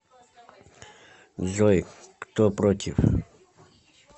джой кто против